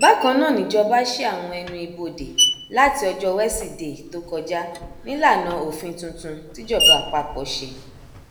bákan náà nìjọba sí àwọn ẹnu ibodè láti ọjọbọ wesidee tó kọjá nílànà òfin tuntun tìjọba àpapọ ṣe